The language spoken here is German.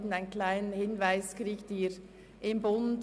Einen kleinen Hinweis finden Sie, wie erwähnt, im «Bund»;